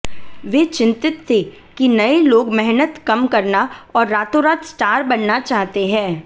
वे चिंतित थे कि नये लोग मेहनत कम करना और रातोंरात स्टार बनना चाहते हैं